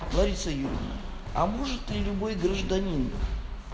лариса юрьевна а может ли любой гражданин